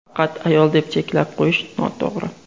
Faqat ayol deb cheklab qo‘yish noto‘g‘ri.